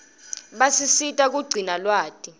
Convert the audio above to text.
basisita kugcina lwati